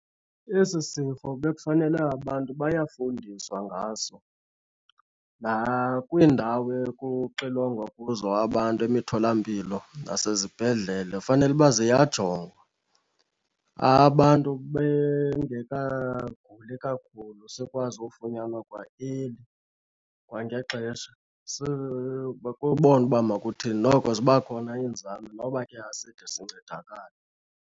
Esi sifo bekufanele abantu bayafundiswa ngaso nakwiindawo ekuxilongwa kuzo abantu, emitholampilo nasezibhedlele fanele uba ziyajongwa. Abantu bengekaguli kakhulu sikwazi ufunyanwa kwa-early, kwangexesha, kubonwe uba makuthini. Noko ziba khona iinzame noba ke aside sincedakale.